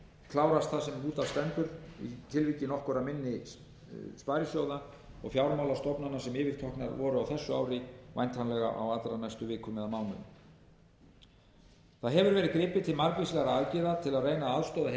klárast það sem út af stendur í tilviki nokkurra minni sparisjóða og fjármálastofnana sem yfirteknar voru á þessu ári væntanlega á allra næstu vikum eða mánuðum það hefur verið gripið til margvíslegra aðgerða til að reyna að aðstoða heimili og fyrirtæki